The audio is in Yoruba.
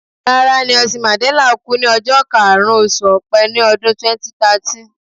Rárá, Nelson Mandella kú ní ọjọ́ karùn-ún, oṣù Ọpẹ ní ọdún 2013.